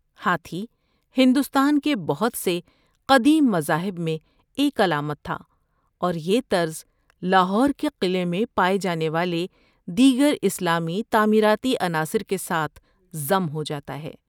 ہاتھی ہندوستان کے بہت سے قدیم مذاہب میں ایک علامت تھا اور یہ طرز لاہور کے قلعے میں پائے جانے والے دیگر اسلامی تعمیراتی عناصر کے ساتھ ضم ہوجاتا ہے۔